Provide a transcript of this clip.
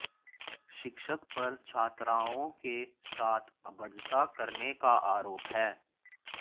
शिक्षक पर छात्राओं के साथ अभदता करने का आरोप है